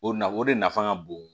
O na o de nafa ka bon